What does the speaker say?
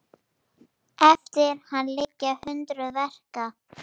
Eftir hann liggja hundruð verka.